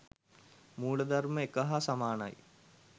මූලධර්මය එක හා සමානයි.